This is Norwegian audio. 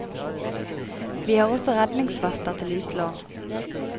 Vi har også redningsvester til utlån.